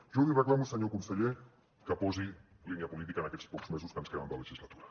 jo li reclamo senyor conseller que posi línia política en aquests pocs mesos que ens queden de legislatura